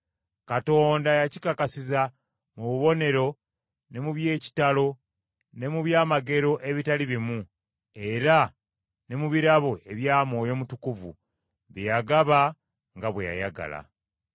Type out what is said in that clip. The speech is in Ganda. Katonda yakikakasiza mu bubonero ne mu by’ekitalo ne mu byamagero abitali bimu, era ne mu birabo ebya Mwoyo Mutukuvu bye yagaba nga bwe yayagala.